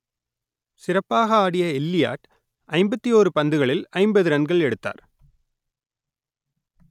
சிறப்பாக ஆடிய எல்லியாட் ஐம்பத்தி ஓரு பந்துகளில் ஐம்பது ரன்கள் எடுத்தார்